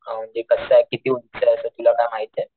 अ म्हणजे कसय किती उंच असं तुला काय माहितीये?